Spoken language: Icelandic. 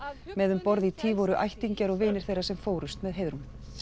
með um borð í tý voru ættingjar og vinir þeirra sem fórust með Heiðrúnu